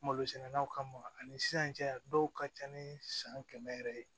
Malosɛnɛnaw kama ani sisan cɛ dɔw ka ca ni san kɛmɛ yɛrɛ ye